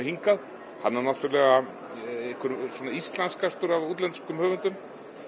hingað hann er svona íslenskastur af útlenskum höfundum